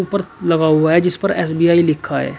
लगा हुआ है जिस पर एस_बी_आई लिखा है।